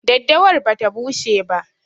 Daddawar bata bushe ba.